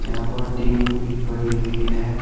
यहां पर टिन भी पड़ी हुई है।